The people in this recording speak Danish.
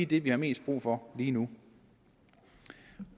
det vi har mest brug for lige nu